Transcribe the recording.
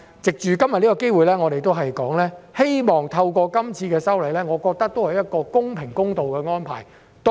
藉着今天的機會，我想說的是，這次修例，我認為是公平、公道的安排。